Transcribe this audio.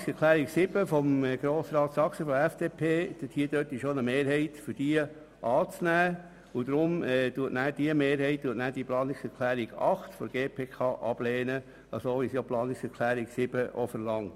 Eine Mehrheit nimmt Planungserklärung 7 von der FDP an und lehnt die Planungserklärung 8 der GPK ab, wie es die Planungserklärung 7 verlangt.